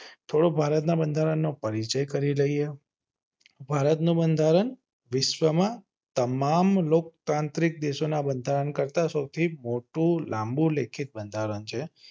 મોટું ભારતીય બંધારણ છે. થોડું ભારત ના બંધારણ નો પરિચય કરી લઈએ. ભારત નું બંધારણ વિશ્વમાં તમામ લોક તાંત્રિક દેશો ના બંધારણ કરતા સૌથી મોટું લાંબુ બંધારણ છે.